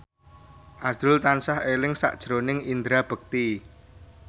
azrul tansah eling sakjroning Indra Bekti